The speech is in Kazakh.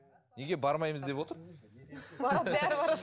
неге бармаймыз деп отыр барады бәрі барады